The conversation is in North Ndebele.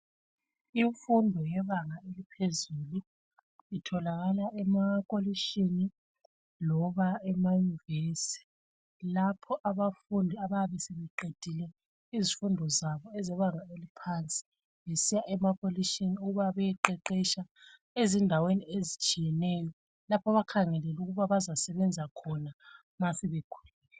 Imfundo yebanga eliphezulu itholakala emakolishini loba emayunivesi .Lapho abafundi abayabe sebeqedile izifundo zabo ezebanga eliphansi besiya emakolishini ukuba bayaqeqesha ezindaweni ezitshiyeneyo, lapho abakhangelele ukuba bazasebenza khona ma sebekhulile.